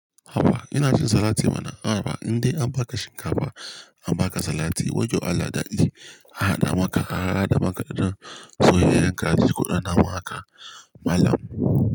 Haba ina cin salati mana haba indai an baka shinkafa an baka salati wayyo Allah daɗi an haɗa maka an hada da ɗan soyayyen kaji koɗanna maka malam.